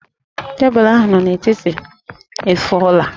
Tebụlụ ahụ nọ n'etiti efuola